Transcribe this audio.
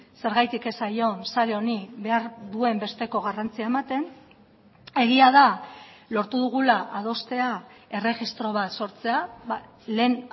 zergatik ez zaion sare honi behar duen besteko garrantzia ematen egia da lortu dugula adostea erregistro bat sortzea lehen